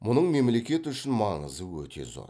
мұның мемлекет үшін маңызы өте зор